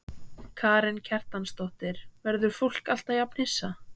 Karen Kjartansdóttir: Verður fólk alltaf jafn hissa?